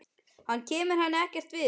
Hann kemur henni ekkert við.